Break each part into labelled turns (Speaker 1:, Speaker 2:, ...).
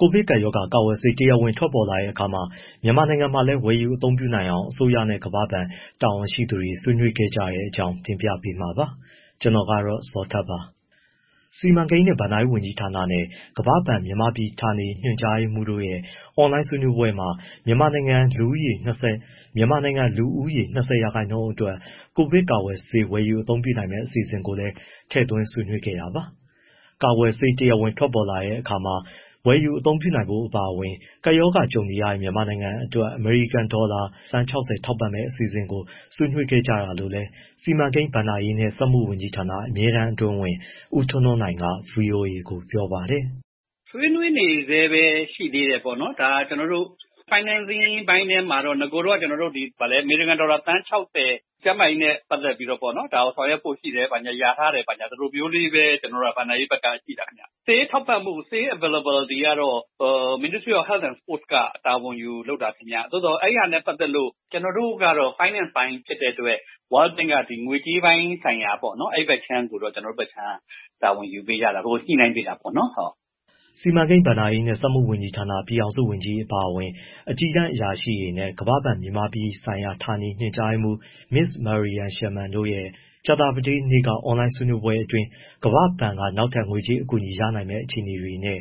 Speaker 1: ကိုဗစ်ကပ်ရောဂါ ကာကွယ်ဆေး တရားဝင် ထွက်ပေါ်လာတဲ့အခါ မြန်မာနိုင်ငံမှာလည်း ဝယ်ယူအသုံးပြုနိုင်အောင် အစိုးရနဲ့ ကမ္ဘာ့ဘဏ် တာဝန်ရှိသူတွေ ဆွေးနွေးခဲ့ကြတဲ့အကြောင်း တင်ပြပေးမှာပါ။ ဗွီအိုအေမြန်မာပိုင်း သတင်းထောက် ကိုဇော်ထက် သတင်းပေးပို့ထားပါတယ်။ စီမံကိန်းနဲ့ဘဏ္ဍာရေးဝန်ကြီးဌာနနဲ့ ကမ္ဘာ့ဘဏ် မြန်မာပြည် ဌာနေညွှန်ကြားရေးမှူးတို့ရဲ့ အွန်လိုင်းဆွေးနွေးပွဲမှာ မြန်မာနိုင်ငံ လူဦးရေ ၂၀ ရာခိုင်နှုန်းအတွက် ကိုဗစ်ကာကွယ်ဆေး ဝယ်ယူအသုံးပြုနိုင်မယ့် အစီအစဉ်ကိုလည်း ထည့်သွင်းဆွေးနွေးခဲ့တာပါ။ ကာကွယ်ဆေး တရားဝင်ထွက်ပေါ်လာတဲ့အခါ ဝယ်ယူအသုံးပြုနိုင်ဖို့ အပါအဝင် ကပ်ရောဂါ ကြုံနေရတဲ့ မြန်မာနိုင်ငံအတွက် အမေရိကန်ဒေါ်လာ သန်း ၆၀ ထောက်ပံ့မယ့် အစီအစဉ်ကို ဆွေးနွေးခဲ့ကြတာလို့လည်း စီမံကိန်း၊ ဘဏ္ဍာရေးနဲ့ စက်မှုဝန်ကြီးဌာန အမြဲတမ်းအတွင်းဝန် ဦးထွန်းထွန်းနိုင်က ဗွီအိုအေကို ပြောပါတယ်။
Speaker 2: “ ဆွေးနွေးနေဆဲပဲ ရှိသေးတယ်ပေါ့နော်၊ ဒါ ကျနော်တို့ financing အပိုင်းထဲမှာတော့ အရင်တုန်းက အမေရိကန်ဒေါ်လာ သန်း ၆၀ ကျန်းမာရေးနဲ့ ပတ်သက်ပြီးတော့ ဒါကိုဆောင်ရွက်ဖို့ရှိတယ်၊ လျာထားတယ်၊ ဒီလိုမျိုး ဘဏ္ဍာရေးဘက်က သိတာပေါ့နော်။ ဆေးထောက်ပံ့မှု ဆေး availability ကတော့ Ministry of Health and Sports က တာဝန်ယူ လုပ်တာခင်ဗျ။ သို့သော် အဲဒါနဲ့ပတ်သက်လို့ ကျနော်တို့က finance ပိုင်းဖြစ်တဲ့အတွက် World Bank က ငွေကြေးပိုင်းဆိုင်ရာ အဲဒီဘက်အခြမ်းကိုတော့ ကျနော်တို့ဘက်က တာဝန်ယူပေးရတာ။ ညှိနှိုင်းပေးရတာပေါ့နော်။”
Speaker 1: စီမံကိန်း၊ ဘဏ္ဍာရေးနဲ့ စက်မှုဝန်ကြီးဌာန ပြည်ထောင်စုဝန်ကြီး အပါအဝင် အကြီးတန်းအရာရှိတွေနဲ့ ကမ္ဘာ့ဘဏ်ရဲ့ မြန်မာနိုင်ငံဆိုင်ရာ ဌာနေညွှန်ကြားရေးမှူး Ms. Marian Sherman တို့ရဲ့ ကြာသပတေးနေ့က အွန်လိုင်းဆွေးနွေးပွဲအတွင်း ကမ္ဘာ့ဘဏ်က နောက်ထပ် ငွေကြေးအကူအညီ ရရှိနိုင်မယ့် အခြေအနေတွေနဲ့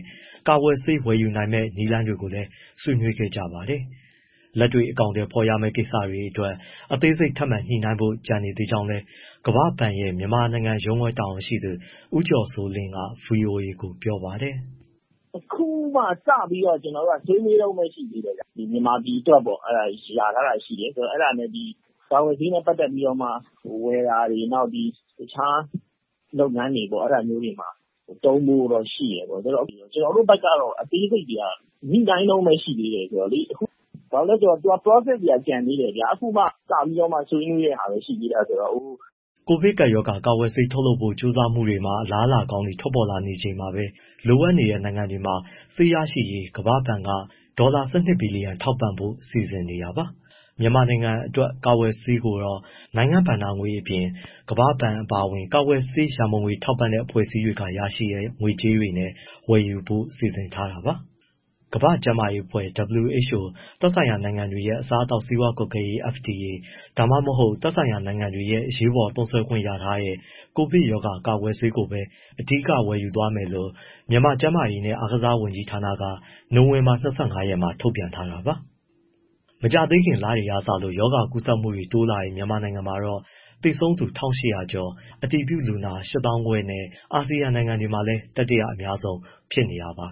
Speaker 1: ကာကွယ်ဆေး ဝယ်ယူနိုင်မယ့် နည်းလမ်းတွေကိုလည်း ဆွေးနွေးခဲ့ကြပါတယ်။ လက်တွေ့ အကောင်အထည် ဖော်ရမယ့် ကိစ္စတွေအတွက် အသေးစိတ် ထပ်မံညှိနှိုင်းဖို့ကျန်သေးကြောင်းလည်း ကမ္ဘာ့ဘဏ်ရဲ့ မြန်မာနိုင်ငံရုံးခွဲ သတင်းပြန်ကြားရေး ဦးကျော်စိုးလင်းက ဗွီအိုအေကို ပြောပါတယ်။
Speaker 3: “ အခုမှစပြီး ကျနော်တို့က ဆွေးနွေးတုန်းပဲရှိသေးတယ်ဗျ၊ မြန်မာပြည်အတွက်ပေါ့၊ လျာထားတာရှိတယ်။ အဲဒါနဲ့ ကာကွယ်ဆေးနဲ့ပတ်သက်ပြီး ဝယ်တာတွေ နောက်တခြား လုပ်ငန်းတွေမှာ သုံးဖို့တော့ ရှိတယ်ပေါ့။ ကျနော်တို့ဘက်ကတော့ အသေးစိတ်တွေက ညှိနှိုင်းတုန်းပဲရှိသေးတယ် ဆိုတော့လေ၊ process တွေက ကျန်သေးတယ်။”
Speaker 1: ကိုဗစ်ကပ်ရောဂါ ကာကွယ်ဆေး ထုတ်လုပ်ဖို့ ကြိုးစားမှုတွေမှာ အလားအလာကောင်းတွေ ထွက်ပေါ်လာနေချိန်မှာပဲ လိုအပ်တဲ့ နိုင်ငံတွေမှာ ဆေးရရှိရေး ကမ္ဘာ့ဘဏ်က ဒေါ်လာ ၁၂ ဘီလီယံ ထောက်ပံ့ဖို့ စီစဉ်နေတာပါ။ မြန်မာနိုင်ငံအတွက် ကာကွယ်ဆေးကိုတော့ နိုင်ငံ့ဘဏ္ဍာငွေအပြင်၊ ကမ္ဘာ့ဘဏ် အပါအဝင် ကာကွယ်ဆေးရန်ပုံငွေ ထောက်ပံ့တဲ့အဖွဲ့အစည်းတွေက ရရှိတဲ့ ငွေကြေးနဲ့ ဝယ်ယူဖို့လည်း စီစဉ်ထားပါတယ်။ ကမ္ဘာ့ကျန်းမာရေးအဖွဲ့ WHO၊ သက်ဆိုင်ရာနိုင်ငံတွေရဲ့ အစားအသောက်နဲ့ ဆေးဝါးကွပ်ကဲရေး FDA ဒါမှမဟုတ် သက်ဆိုင်ရာနိုင်ငံတွေက အရေးပေါ် သုံးစွဲခွင့် ရထားတဲ့ ကိုဗစ်ရောဂါ ကာကွယ်ဆေးကိုပဲ အဓိက ဝယ်ယူသွားမယ်လို့ မြန်မာကျန်းမာရေးနဲ့ အားကစားဝန်ကြီးဌာနက နိုဝင်ဘာ ၂၅ ရက်မှာ ထုတ်ပြန်ထားတာပါ။ မကြာသေးခင်လတွေကစလို့ ရောဂါကူးစက်မှုတွေ တိုးလာတဲ့ မြန်မာနိုင်ငံမှာတော့ သေဆုံးသူ ၁၈၀၀ ကျော်၊ အတည်ပြုလူနာ ၈၅၀၀၀ နဲ့ အာဆီယံနိုင်ငံတွေထဲမှာလည်း တတိယ အများဆုံး ဖြစ်နေပါ